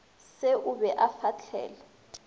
se o be o fahlele